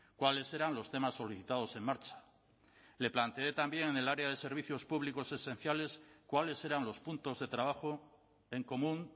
cuáles eran los temas solicitados en marcha le planteé también en el área de servicios públicos esenciales cuáles eran los puntos de trabajo en común